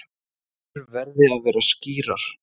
Línur verði að vera skýrar